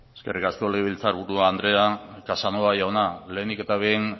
eskerrik asko legebiltzar buru andrea casanova jauna lehenik eta behin